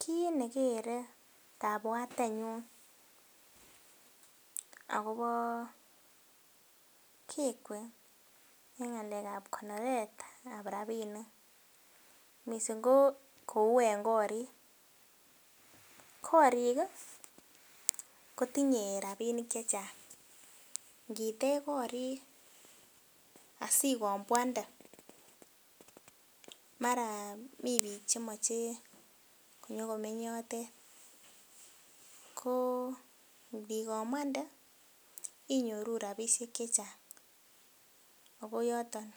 Kit nekere kabwatenyun akobo kekwe en ngalekab konoretab rabinik missing ko kou en korik . Korik kii kotinye rabinik chechang nitech korik sikombwande mara mii bik chemoche konyokomeny yotet ko ndikombwande inyoru rabishek chechang ako yoton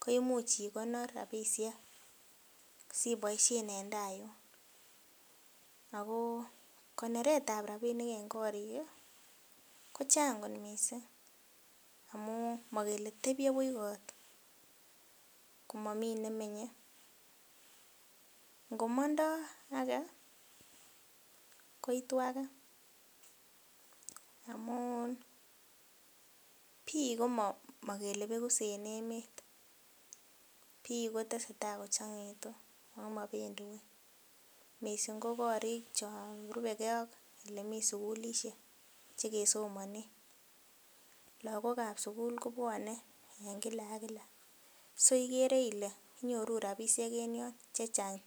ko imuch ikonor rabishek siboishen en tai yun. Akoo konoretab rabinik en korik kii kochang kot missing amun mokele tebie buch kot komomii nemenye, ngomondo ake koitu age amun bik komokele bekuk iss en emet bik kotesetai kochongoitu omopendii wui missing ko korik chon rubegee ak olemii sukulishek ch.ekesomonen. Lokokab sukul kobwone en kila ak kila so ikere Ile inyoru rabishek en yon en chechang